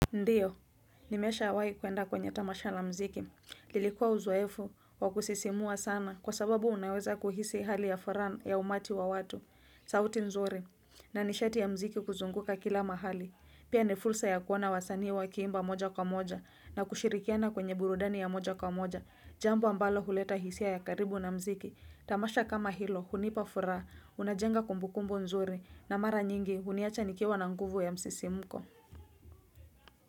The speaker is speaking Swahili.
Ndiyo, nimeshawahi kuenda kwenye tamasha la muziki, lilikuwa uzoefu wa kusisimua sana kwa sababu unaweza kuhisi hali ya furaha ya umati wa watu, sauti nzuri, na nishati ya muziki kuzunguka kila mahali, pia ni fursa ya kuona wasanii wakiimba moja kwa moja, na kushirikiana kwenye burudani ya moja kwa moja, jambo ambalo huleta hisia ya karibu na muziki, tamasha kama hilo, hunipa furaha, unajenga kumbukumbu nzuri, na mara nyingi, huniacha nikiwa na nguvu ya msisimko.